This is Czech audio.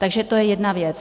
Takže to je jedna věc.